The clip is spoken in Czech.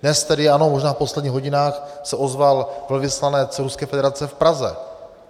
Dnes tedy ano, možná v posledních hodinách se ozval velvyslanec Ruské federace v Praze.